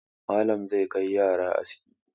Malam zai kai yara aski.